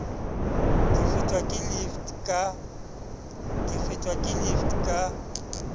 ke fetwa ke lift ka